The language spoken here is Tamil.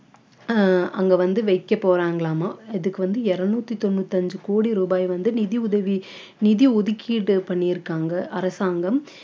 ஆஹ் அங்க வந்து வைக்கப் போறாங்களாமாம் இதுக்கு வந்து இருநூத்தி தொண்ணூத்தி அஞ்சு கோடி ரூபாய் வந்து நிதி உதவி நிதி ஒதுக்கீடு பண்ணிருக்காங்க அரசாங்கம்